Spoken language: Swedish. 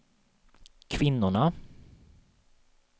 kvinnorna